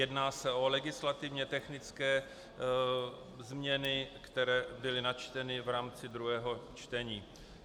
Jedná se o legislativně technické změny, které byly načteny v rámci druhého čtení.